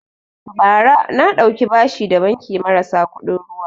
Bara na ɗauki bashi da banki marasa kuɗin ruwa